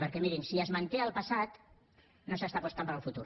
perquè mirin si es manté el passat no s’està apostant per al futur